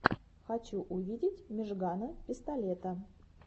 хочу увидеть мижгана пистолета